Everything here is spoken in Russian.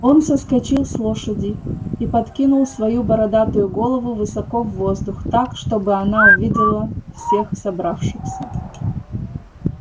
он соскочил с лошади и подкинул свою бородатую голову высоко в воздух так чтобы она увидела всех собравшихся